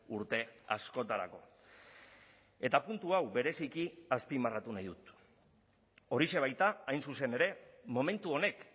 urte askotarako eta puntu hau bereziki azpimarratu nahi dut horixe baita hain zuzen ere momentu honek